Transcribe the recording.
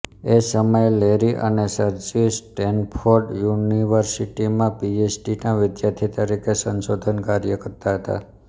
એ સમયે લેરી અને Sergey Stanford યુનિવર્સિટીમાં પીએચડીના વિદ્યાર્થી તરીકે સંશોધન કાર્ય કરતા હતા